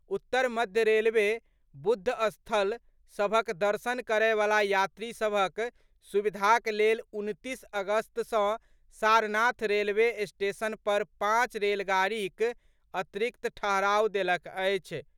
उत्तर मध्य रेलवे बुद्ध स्थल सभक दर्शन करय वला यात्री सभक सुविधाक लेल उनतीस अगस्त सँ सारनाथ रेलवे स्टेशन पर पांच रेलगाड़ीक अतिरिक्त ठहराव देलक अछि।